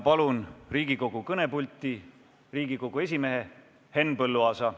Palun Riigikogu kõnepulti Riigikogu esimehe Henn Põlluaasa.